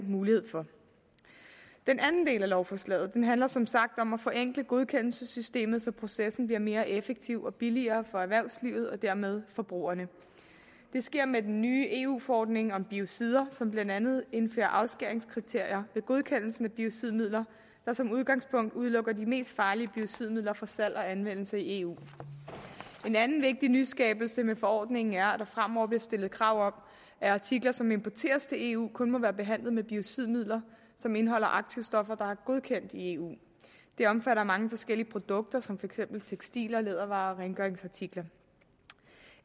mulighed for den anden del af lovforslaget handler som sagt om at forenkle godkendelsessystemet så processen bliver mere effektiv og billigere for erhvervslivet og dermed forbrugerne det sker med den nye eu forordning om biocider som blandt andet indfører afskæringskriterier ved godkendelsen af biocidmidler der som udgangspunkt udelukker de mest farlige biocidmidler fra salg og anvendelse i eu en anden vigtig nyskabelse med forordningen er at der fremover bliver stillet krav om at artikler som importeres til eu kun må være behandlet med biocidmidler som indeholder aktivstoffer der er godkendt i eu det omfatter mange forskellige produkter som for eksempel tekstiler lædervarer og rengøringsartikler